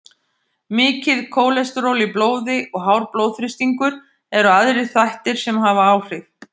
Mikið kólesteról í blóði og hár blóðþrýstingur eru aðrir þættir sem hafa áhrif.